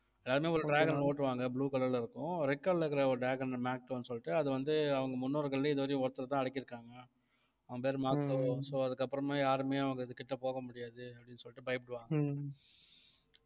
எல்லாருமே ஒரு dragon ஐ ஓட்டுவாங்க blue colour ல இருக்கும் red colour ல இருக்கிற ஒரு dragonmakto சொல்லிட்டு அது வந்து அவங்க முன்னோர்கள்லயும் இதுவரையும் ஒருத்தர்தான் அடக்கியிருக்காங்க அவன் பேரு makto, so அதுக்கப்புறமா யாருமே அவங்க இது கிட்ட போக முடியாது அப்படின்னு சொல்லிட்டு பயப்படுவாங்க